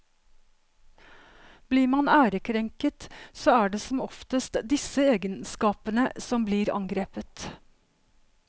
Blir man ærekrenket så er det som oftest disse egenskapene som blir angrepet.